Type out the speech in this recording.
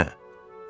Axırda nə?